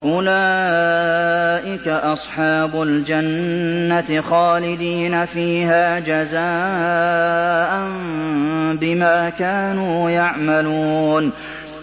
أُولَٰئِكَ أَصْحَابُ الْجَنَّةِ خَالِدِينَ فِيهَا جَزَاءً بِمَا كَانُوا يَعْمَلُونَ